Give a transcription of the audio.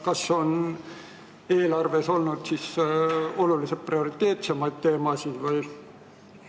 Kas eelarves on siis oluliselt prioriteetsemaid teemasid olnud?